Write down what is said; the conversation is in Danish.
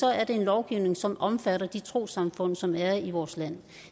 er det en lovgivning som omfatter de trossamfund som er i vores land